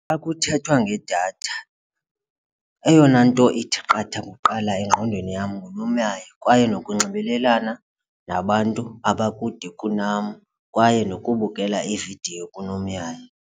Xa kuthethwa ngedatha eyona nto ithi qatha kuqala engqondweni yam ngunomyayi kwaye nokunxibelelana nabantu abakude kunam kwaye nokubukela iividiyo kunomyayi.